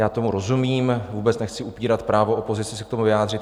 Já tomu rozumím, vůbec nechci upírat právo opozici se k tomu vyjádřit.